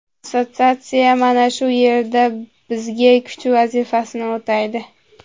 Assotsiatsiya mana shu yerda bizga kuch vazifasini o‘taydi.